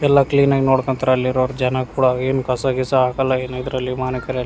ಎಲ್ಲ ಕ್ಲೀನ್ ಆಗಿ ನೋಡ್ಕಂತಾರೆ ಅಲ್ಲಿರೋರ್ ಜನ ಕೂಡ ಏನ್ ಕಸ ಗೀಸ ಹಾಕಲ್ಲ ಎನ್ ಇದ್ರಲ್ಲಿ ಮಾವಿನಕೆರೆಯಲ್ಲಿ --